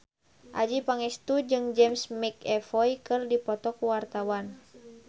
Adjie Pangestu jeung James McAvoy keur dipoto ku wartawan